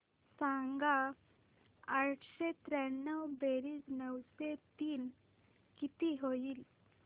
सांग आठशे त्र्याण्णव बेरीज नऊशे तीन किती होईल